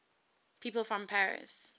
people from paris